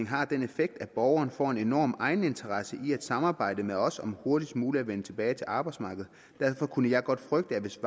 har den effekt at borgeren får en enorm egeninteresse i at samarbejde med os om hurtigst muligt at vende tilbage til arbejdsmarkedet derfor kunne jeg godt frygte at hvis